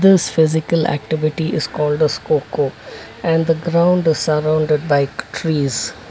this physical activity is called as kho kho and the ground is surrounded by trees.